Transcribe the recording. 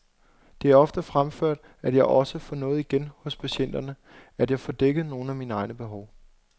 Det er ofte fremført, at jeg også får noget igen hos patienterne, at jeg får dækket nogle af mine egne behov.